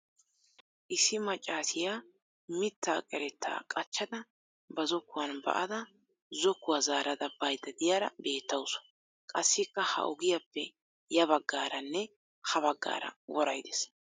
Issi maccaasiya mittaa qerettaa qachchada ba zokkuwan ba'ada zokkuwa zaarada bayidda diyara beettawusu. Qassikka ha ogiyappe ya baggaaranne ha baggaara woray des.